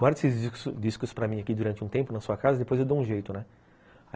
Guarda esses discos para mim aqui durante um tempo na sua casa e depois eu dou um jeito, né.